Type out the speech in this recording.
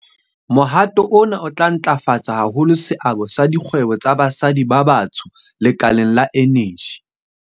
Mohato ona o tla ntlafatsa haholo seabo sa dikgwebo tsa basadi ba batsho lekaleng la eneji.